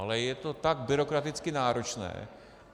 Ale je to tak byrokraticky náročné.